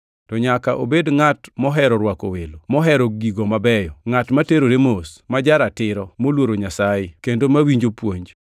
To nyaka obed ngʼat mohero rwako welo, mohero gigo mabeyo, ngʼat ma terore mos, ma ja-ratiro, moluoro Nyasaye; kendo mawinjo puonj.